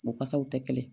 U kasaw tɛ kelen ye